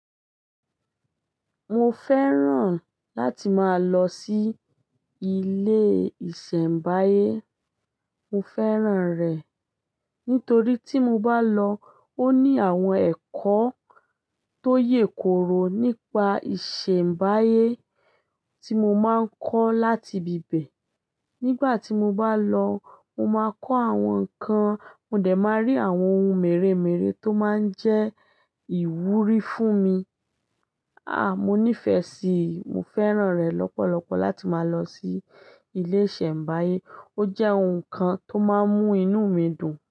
Mo fẹ́ràn láti máa lọ sí ilé ìsẹ̀mbáyé. Mo fẹ́ràn rẹ̀ nítorí tí mo bá lọ ó ní àwọn ẹ̀kọ́ tó yèkoro nípa ìsẹ̀mbáyé tí mo máa ń kọ́ láti bíbẹ̀. Nígbà tí mo bá lọ, mo máa kọ́ àwọn nǹkan, mo dẹ̀ máa rí àwọn ohun mèremère tó máa ń jẹ́ ìwúrí fún mi. À, mo nífẹ̀ẹ́ sí i, mo fẹ́ràn rẹ̀ lọ́pọ̀lọpọ̀ láti máa lọ sí ilé ìsẹ̀mbáyé. Ó jẹ́ ohun kan tó máa ń mú inú mi dùn.